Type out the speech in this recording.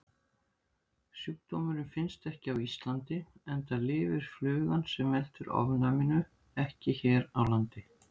Sjúkdómurinn finnst ekki á Íslandi enda lifir flugan sem veldur ofnæminu ekki hér á landi.